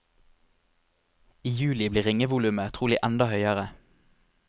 I juli blir ringevolumet trolig enda høyere.